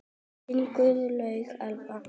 Þín Guðlaug Elfa.